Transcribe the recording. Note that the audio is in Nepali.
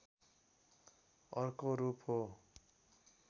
अर्को रूप हो